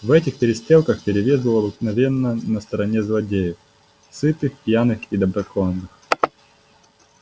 в этих перестрелках перевес был обыкновенно на стороне злодеев сытых пьяных и доброконных